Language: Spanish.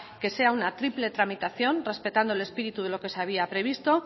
que sea una triple tramitación respetando el espíritu de lo que se había previsto